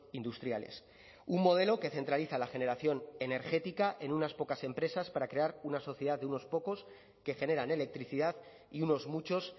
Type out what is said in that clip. industriales un modelo que centraliza la generación energética en unas pocas empresas para crear una sociedad de unos pocos que generan electricidad y unos muchos